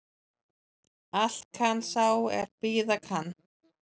Allt kann sá er bíða kann